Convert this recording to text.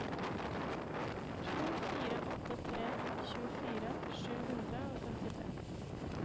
to fire åtte tre tjuefire sju hundre og femtitre